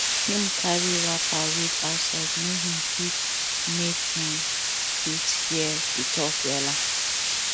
him carry wrapper wait outside make him fit make him fit hear the talk wella